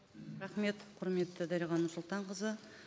рахмет құрметті дариға нұрсұлтанқызы